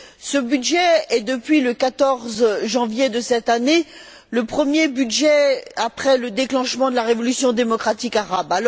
Ce budget est, depuis le 14 janvier de cette année, le premier budget après le déclenchement de la révolution démocratique arabe.